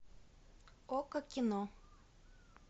окко кино